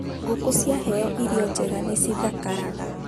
Ngũkũ ciaheo irio njega nĩ cithakaraga